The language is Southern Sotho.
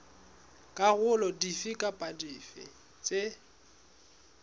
dikarolo dife kapa dife tse